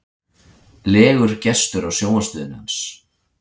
legur gestur á sjónvarpsstöðinni hans.